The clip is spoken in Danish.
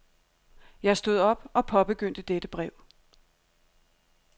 Jeg stod op og påbegyndte dette brev.